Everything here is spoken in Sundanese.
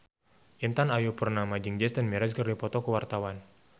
Intan Ayu Purnama jeung Jason Mraz keur dipoto ku wartawan